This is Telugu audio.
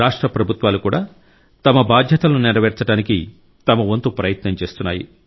రాష్ట్ర ప్రభుత్వాలు కూడా తమ బాధ్యతలను నెరవేర్చడానికి తమ వంతు ప్రయత్నం చేస్తున్నాయి